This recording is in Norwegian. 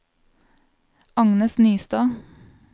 Agnes Nystad